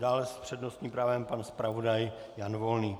Dále s přednostním právem pan zpravodaj Jan Volný.